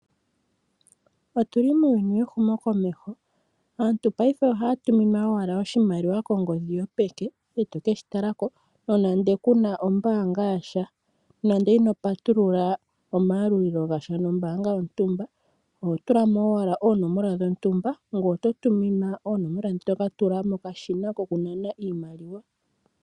Otuli muuyuni wehumo komeho. Aantu paife ohaya tuminwa owala oshimaliwa kongodhi yopeke eteke shitalako nonande kuna ombaanga yasha. Nande ino patulula omaalulo gasha nombaanga yontumba oho tulamo owala oonomola dhontumba ngoye oto tuminwa oonomola ndhi tokatula mokashina kokunana iimaliwa.